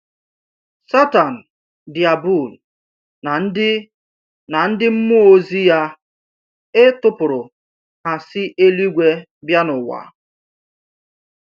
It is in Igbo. Satan diabul na ndị na ndị mmụọ ozi ya e tụpụrụ ha si eluigwe bịa n’ụwa.